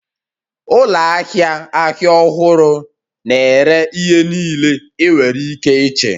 Ụlọ ahịa ahịa ọhụrụ na-ere ihe niile ị nwere ike iche